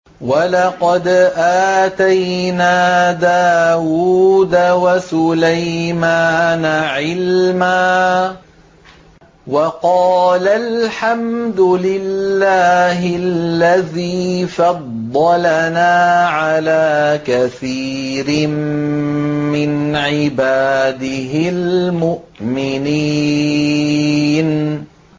وَلَقَدْ آتَيْنَا دَاوُودَ وَسُلَيْمَانَ عِلْمًا ۖ وَقَالَا الْحَمْدُ لِلَّهِ الَّذِي فَضَّلَنَا عَلَىٰ كَثِيرٍ مِّنْ عِبَادِهِ الْمُؤْمِنِينَ